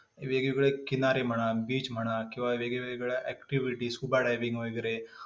वेगवेगळे किनारे म्हणा, beach म्हणा, वेगवेगळ्या किंवा activities, scuba diveing वगैरे.